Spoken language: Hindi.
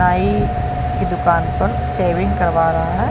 नाई की दुकान पर सेविंग करवा रहा हैं |